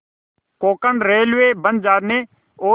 Konkan railway बन जाने और